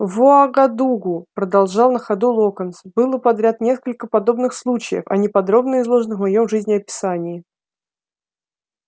в уагадугу продолжал на ходу локонс было подряд несколько подобных случаев они подробно изложены в моем жизнеописании